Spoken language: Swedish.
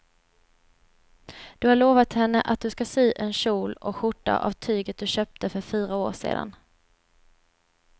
Du har lovat henne att du ska sy en kjol och skjorta av tyget du köpte för fyra år sedan.